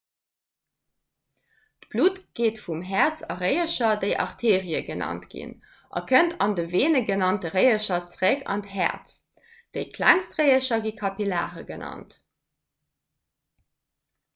d'blutt geet vum häerz a réiercher déi arterie genannt ginn a kënnt an de veene genannte réiercher zeréck an d'häerz déi klengst réiercher gi kapillare genannt